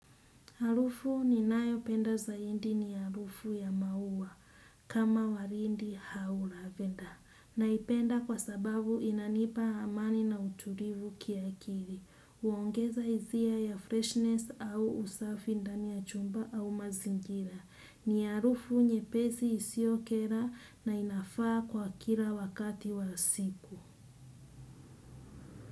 Harufu ninayopenda zaindi ni harufu ya maua kama warindi hau lavenda. Naipenda kwa sababu inanipa amani na uturivu kiakiri. Huongeza hizia ya freshness au usafi ndani ya chumba au mazingira. Ni harufu nyepesi isiokera na inafaa kwa kira wakati wa siku.